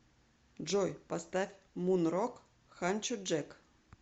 джой поставь мун рок ханчо джек